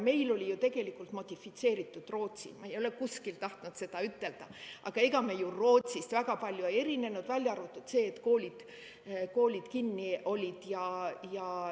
Meil oli ju tegelikult modifitseeritud Rootsi, ma ei ole kuskilt tahtnud seda ütelda, aga ega me ju Rootsist väga palju ei erinenud, välja arvatud see, et koolid olid kinni.